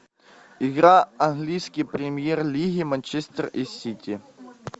игра английской премьер лиги манчестер и сити